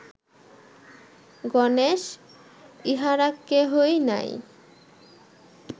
গণেশ, ইঁহারা কেহই নাই